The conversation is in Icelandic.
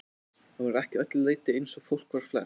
Hann var ekki að öllu leyti eins og fólk var flest.